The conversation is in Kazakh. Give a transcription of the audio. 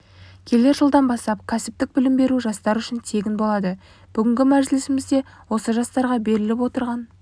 келер жылдан бастап кәсіптік білім беру жастар үшін тегін болады бүгінгі мәжілісімізде осы жастарға беріліп отырған